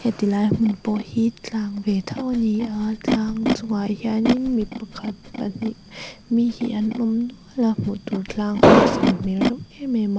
heti lai hmun pawh hi tlang ve tho a ni a tlang chungah hian in mi pakhat pahnih mi hi an awm nual a hmuh tur tlang hi a san hmel reuh em em a.